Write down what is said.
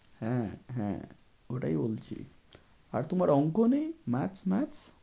হ্যাঁ হ্যাঁ ওটাই বলছি। আর তুমি অঙ্ক নেই? math math